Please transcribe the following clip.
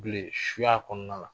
bilen suya kɔnɔna la